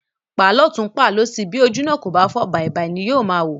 Pàá lótùn, pàá lósì, bí ojú náà kò fọ́, bàìbàì ni yóò máa wò.